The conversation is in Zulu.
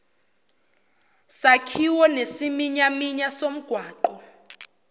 sakhiwo nesiminyaminya somgwaqo